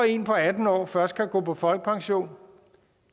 en på atten år først kan gå på folkepension